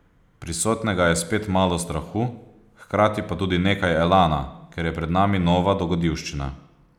Prisotnega je spet malo strahu, hkrati pa tudi nekaj elana, ker je pred nami nova dogodivščina.